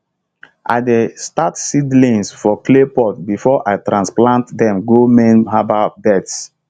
i dey start seedlings for clay pot before i transplant dem go main herbal beds